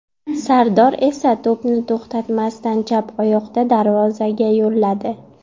Sardor esa to‘pni to‘xtatmasdan chap oyoqda darvozaga yo‘lladi.